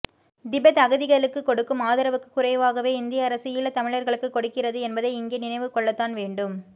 Tibet அகதிகளுக்கு கொடுக்கும் ஆதரவுக்குக் குறைவாகவே இந்திய அரசு ஈழத்தமிழர்களுக்கு கொடுக்கிறது என்பதை இங்கே நினைவுகொள்ளத்தான் வேண்டும்